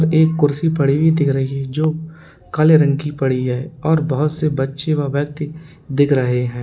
एक कुर्सी पड़ी हुई दिख रही है जो काले रंग की पड़ी है और बहुत से बच्चों व व्यक्ति दिख रहे हैं।